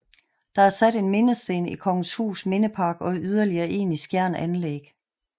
Der er sat en mindesten i Kongenshus Mindepark og yderligere en i Skjern Anlæg